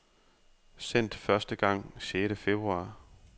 Sendt første gang sjette februar.